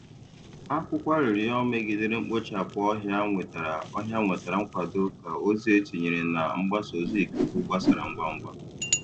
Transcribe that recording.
Akwụkwọ arịrịọ megidere mkpochapụ ọhịa nwetara ọhịa nwetara nkwado ka ozi e tinyere na mgbasa ozi ikuku gbasara ngwa ngwa.